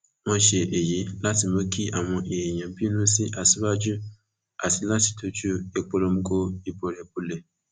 wọn ṣe èyí láti mú kí àwọn èèyàn bínú sí aṣíwájú àti láti dojú ìpolongo ìbò rẹ bọlẹ